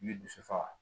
N bɛ dusu faga